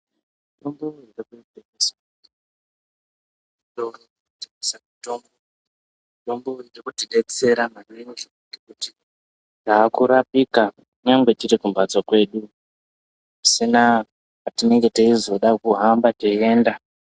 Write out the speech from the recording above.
Mitombo ..... Mitombo iyi inotidetsera kunyangwe tiri kumhatso kwedu pasina kwatinenge teizoda kuhamba teienda.